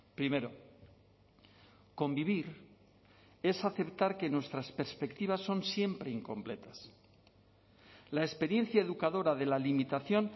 primero convivir es aceptar que nuestras perspectivas son siempre incompletas la experiencia educadora de la limitación